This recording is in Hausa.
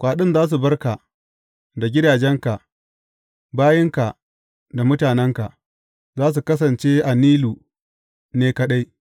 Kwaɗin za su bar ka da gidajenka, bayinka da mutanenka; za su kasance a Nilu ne kaɗai.